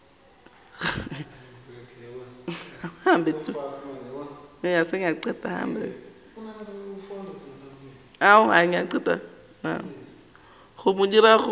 go mo dira gore a